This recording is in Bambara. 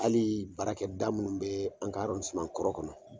Alii baarakɛda minnu bɛ an ka arɔndiseman kɔrɔ kɔnɔ